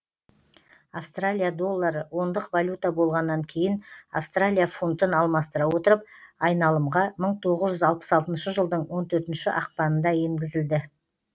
австралия доллары ондық валюта болғаннан кейін австралия фунтын алмастыра отырып айналымға мың тоғыз жүз алпыс алтыншы жылдың он төртінші ақпанында енгізілді